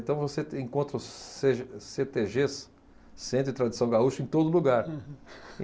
Então você tem, encontra os Cêgê, Cêtêgês, Centro de Tradição Gaúcha, em todo lugar. Uhum.